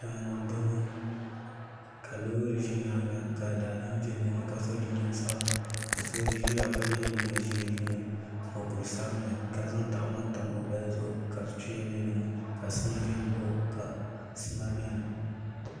Daani n boŋo ka loori ʒɛ nyaanga ka daadam bɛ dinni ka so jinjɛm sabinli ka so ʒiya ka yɛ liiga ʒiɛ ni mokuru sabinli ka zaŋ tahapoŋ tam o gbaya zuɣu ka tuya bɛ dinni ka sima biɛni